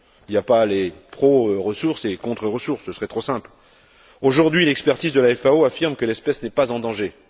Il n'y a pas les pro ressources et les contre ressources, ce serait trop simple. Aujourd'hui, une expertise de la FAO affirme que l'espèce n'est pas en danger.